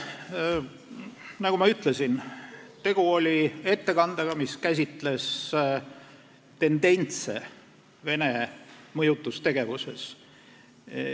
Nagu ma ütlesin, tegu oli ettekandega, mis käsitles tendentse Vene mõjutustegevuses.